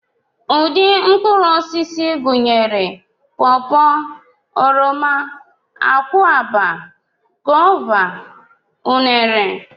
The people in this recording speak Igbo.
Ụdị mkpụrụosisi gụnyere pọpọ, oroma, akwụaba, gova, unere